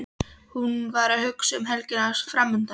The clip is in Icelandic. Hún var að hugsa um helgina framundan.